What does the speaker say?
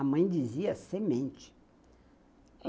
A mãe dizia semente.